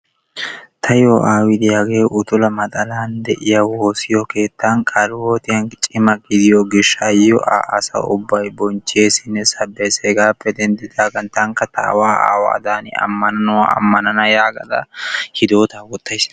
Tayoo aawi de'iyaagee utula maxaalaan de'iyaa wossiyoo keettan qalihiwootiyaan cimma gidiyoo giishshayo a asay ubbay bochcheesinne sabbees. Hegaappe denddidaagan tankka aawaa aawaa tani ammanuwaa ammanana yaagada hiidotaa wottays.